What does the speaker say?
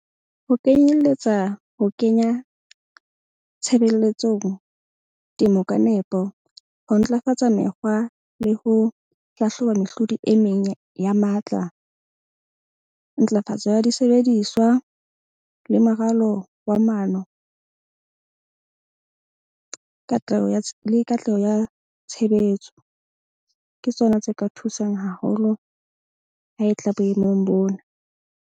Ho kenyelletsa ho kenya tshebeletsong temo ka nepo. Ho ntlafatsa mekgwa le ho hlahloba mehlodi e meng ya matla. Ntlafatso ya disebediswa le moralo wa maano. Katleho ya le katleho ya tshebetso ke tsona tse ka thusang haholo ha e tla boemong bona.